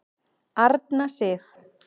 Arna Sif.